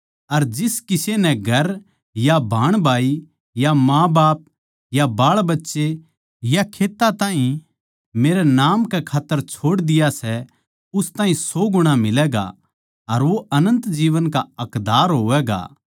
अर जिस किसे नै घर या भाईभाण या माँबाप या बाळबच्चे या खेत्तां ताहीं मेरै नाम कै खात्तर छोड़ दिया सै उस ताहीं सौ गुणा मिलैगा अर वो अनन्त जीवन का हक्कदार होवैगा